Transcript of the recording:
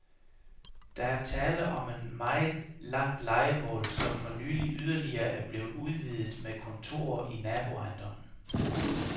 Der er tale om en meget langt lejemål, som for nylig yderligere er blevet udvidet med kontorer i naboejendommen.